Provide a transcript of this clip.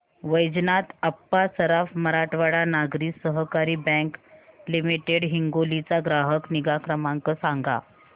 Vaijnath Appa Saraf Marathwada Nagari Sahakari bank limited Hingoli चा ग्राहक निगा क्रमांक सांगा